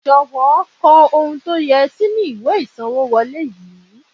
jowo ko ohun to ye si inu iwe isanwo wole yii